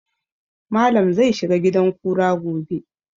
Malam zai shiga gidan kura gobe